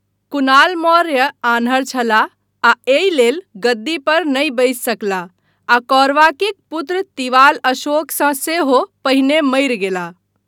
कुणाल मौर्य आन्हर छलाह आ एहि लेल गद्दी पर नहि बसि सकलाह आ कौरवाकीक पुत्र तिवाल अशोकसँ सेहो पहिने मरि गेलाह।